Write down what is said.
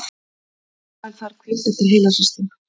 Rafael þarf hvíld eftir heilahristing